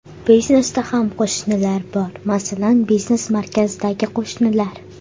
Biznesda ham qo‘shnilar bor, masalan, biznes markazdagi qo‘shnilar.